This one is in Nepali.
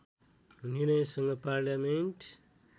निर्णयसँग पार्लियामेन्ट